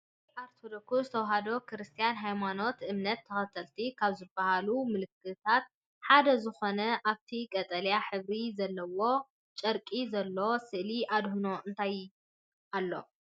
ናይ ኦርቶዶክስ ተዋህዶ ክርስትና ሃይማኖት እምነት ተከተሊቲ ካብ ዝብሃሉ ምልክታት ሓደ ዝኮነ ኣብቲ ቀጠልያ ሕብሪ ዘለዎ ጨርቂ ዘሎ ስእሊ ኣድህኖን እንታይ አሎ?